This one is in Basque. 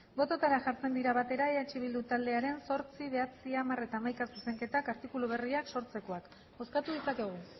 bototara jartzen dira batera eh bildu taldearen zortzi bederatzi hamar eta hamaika zuzenketak artikulu berriak sortzeko bozkatu ditzakegu